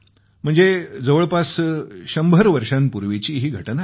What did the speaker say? म्हणजे जवळपास सव्वाशे वर्षांपूर्वीची ही घटना आहे